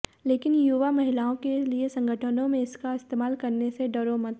लेकिन युवा महिलाओं के लिए संगठनों में इसका इस्तेमाल करने से डरो मत